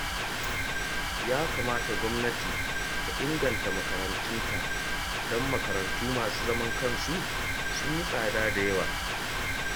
Ya kamata gwamnati ta inganta makarantunta, don makarantu masu zaman kansu sun yi tsada da yawa